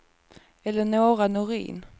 Eleonora Norin